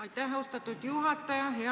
Aitäh, austatud juhataja!